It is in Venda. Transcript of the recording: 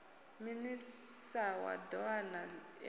minis a doa na indas